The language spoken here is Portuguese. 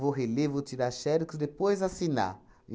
Vou reler, vou tirar xerox e depois assinar.